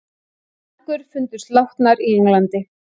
Mæðgur fundust látnar í Englandi